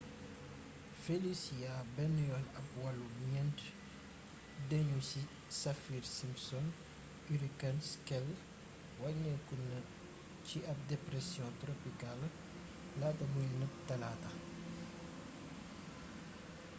felicia benn yoon ab wàllu 4 dënnu ci saffir-simpson hurricane scale wàññeeku na ba ci ab depersiyon toropikaal laata muy nëbb talaata